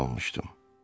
Ev almışdım.